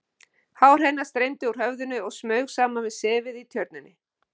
Hár hennar streymdi úr höfðinu og smaug saman við sefið í Tjörninni.